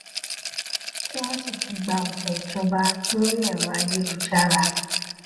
tí wón sì ti gba òntẹ ìjọba lórí ẹrọ ayélujára